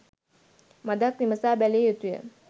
මඳක් විමසා බැලිය යුතුය.